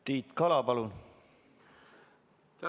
Tiit Kala, palun!